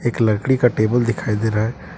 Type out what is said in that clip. लकड़ी का टेबल दिखाई दे रहा है।